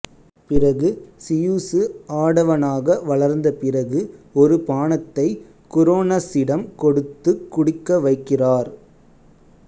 பிறகு சியுசு ஆடவனாக வளர்ந்த பிறகு ஒரு பானத்தை குரோனசிடம் கொடுத்துக் குடிக்க வைக்கிறார்